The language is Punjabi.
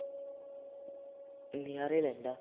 ਨਜ਼ਾਰੇ ਲੈਂਦਾ